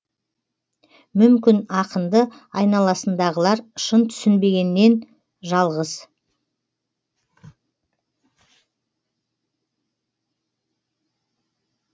мүмкін ақынды айналасындағылар шын түсінбегеннен жалғыз